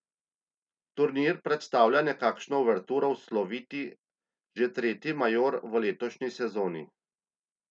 Turnir predstavlja nekakšno uverturo v sloviti, že tretji major v letošnji sezoni.